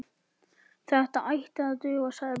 Þetta ætti að duga, sagði Björn.